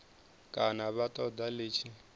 kana vha ṱoḓa ḽi tshi